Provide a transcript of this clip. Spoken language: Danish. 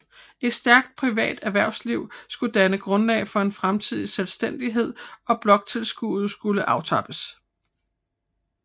Et stærkt privat erhvervsliv skulle danne grundlag for en fremtidig selvstændighed og bloktilskuddet skulle aftrappes